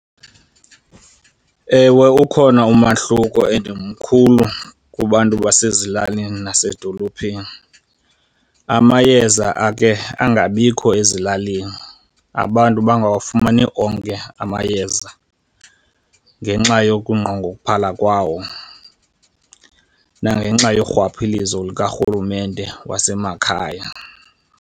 Ewe, ukhona umahluko and mkhulu kubantu basezilalini nasedolophini. Amayeza akhe angabikho ezilalini, abantu bangawafumani onke amayeza ngenxa yokunqongophala kwawo, nangenxa yorhwaphilizo lukarhulumente wasemakhaya.